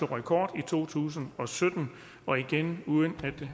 rekord i to tusind og sytten og igen uden